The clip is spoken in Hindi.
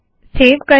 सेव करे